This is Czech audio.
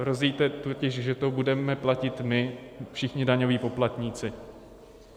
Hrozí totiž, že to budeme platit my, všichni daňoví poplatníci.